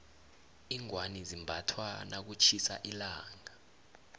iingwani zimbathwa nakutjhisa ilanga